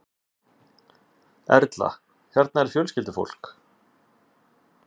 Erla: Hérna er fjölskyldufólk?